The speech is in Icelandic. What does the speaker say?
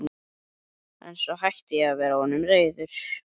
En svo hætti ég að vera honum reiður.